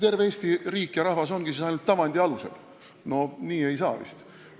Terve Eesti riik ja rahvas tegutsebki siis ainult tavandi alusel – nii ei saa vist.